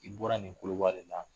I bɔra nin koloba de la